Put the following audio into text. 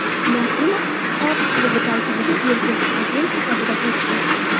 Nasimov fors klubi tarkibiga erkin agent sifatida o‘tdi.